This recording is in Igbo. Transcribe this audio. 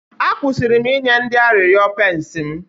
A kwụsịrị inye ndị arịrịọ pence m